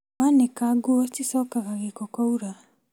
Wanĩka nguo cicokaga gĩko kwaura